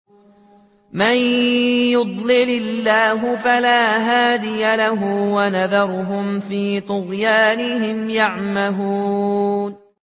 مَن يُضْلِلِ اللَّهُ فَلَا هَادِيَ لَهُ ۚ وَيَذَرُهُمْ فِي طُغْيَانِهِمْ يَعْمَهُونَ